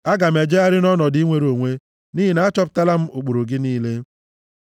Aga m ejegharị nʼọnọdụ inwere onwe nʼihi na achọpụtala m ụkpụrụ gị niile.